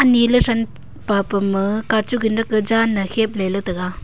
ani ley san papen ma kachu kanak kajan ne khao ley tega.